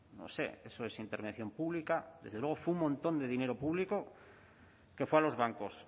no sé eso es intervención pública desde luego fue un montón de dinero público que fue a los bancos